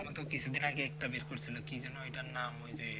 আবার তো কিছুদিন আগে একটা বের করছিলো কি যেন ওইটার নাম ওই যে